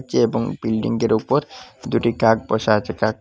নীচে এবং বিল্ডিংটির ওপর দুটি কাক বসে আছে কাক--